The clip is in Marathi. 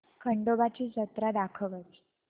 खंडोबा ची जत्रा दाखवच